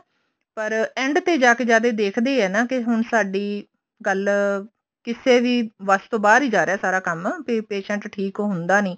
ਪਰ end ਤੇ ਜਾਕੇ ਜਦ ਇਹ ਦੇਖਦੇ ਆ ਹੁਣ ਸਾਡੀ ਗੱਲ ਕਿਸੇ ਵੀ ਬੱਸ ਤੋਂ ਬਾਹਰ ਹੀ ਜਾ ਰਿਹਾ ਸਾਰਾ ਕੰਮ ਕੇ patient ਠੀਕ ਹੁੰਦਾ ਨੀ